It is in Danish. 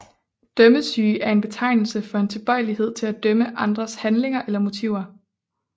Dømmesyge er en betegnelse for en tilbøjelighed til at dømme andres handlinger eller motiver